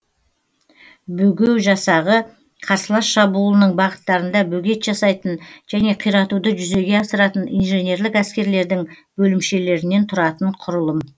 бөгеу жасағы қарсылас шабуылының бағыттарында бөгет жасайтын және қиратуды жүзеге асыратын инженерлік әскерлердің бөлімшелерінен тұратын кұрылым